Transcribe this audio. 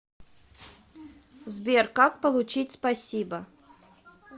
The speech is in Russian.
сбер как получить спасибо